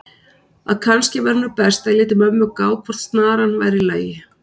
að kannski væri nú best að ég léti mömmu gá hvort snaran væri í lagi.